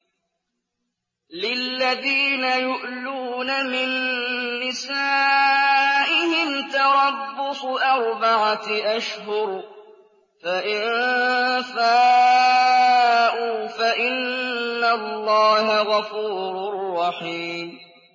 لِّلَّذِينَ يُؤْلُونَ مِن نِّسَائِهِمْ تَرَبُّصُ أَرْبَعَةِ أَشْهُرٍ ۖ فَإِن فَاءُوا فَإِنَّ اللَّهَ غَفُورٌ رَّحِيمٌ